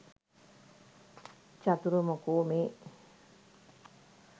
චතුර මොකෝ මේ